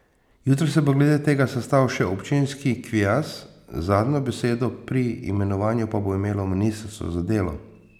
Jutri se bo glede tega sestal še občinski kviaz, zadnjo besedo pri imenovanju pa bo imelo ministrstvo za delo.